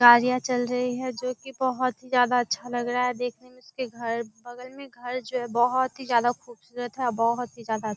गाड़ियाँ चल रही जो कि बहुत ही ज्यादा अच्छा लग रहा है देखने में उसके घर बगल में घर जो है बहुत ही ज्यादा खूबसुरत है बहुत ही ज्यादा --